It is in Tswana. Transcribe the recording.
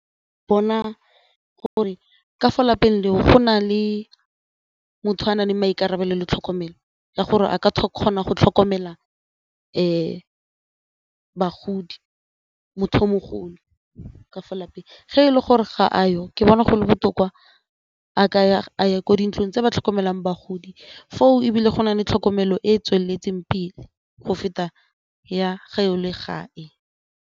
Bona gore ka fo lapeng leo go na le motho a nang le maikarabelo le tlhokomelo ya gore a ka kgona go tlhokomela bagodi, motho yo mogolo ka fa lapeng ge e le gore ga a yo ke bona gole botoka a ye kwa dintlong tse di tlhokomelang bagodi foo ebile go nale tlhokomelo e e tsweletseng pele go feta ya ga o le gae.